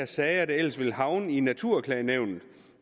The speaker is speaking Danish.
sager der ellers vil havne i naturklagenævnet